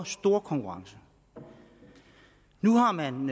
stor konkurrence nu har man